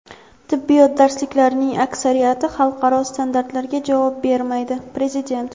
"Tibbiyot darsliklarining aksariyati xalqaro standartlarga javob bermaydi" - prezident.